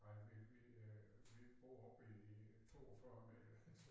Nej vi vi øh vi bor oppe i 42 meter